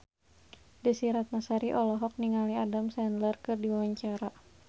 Desy Ratnasari olohok ningali Adam Sandler keur diwawancara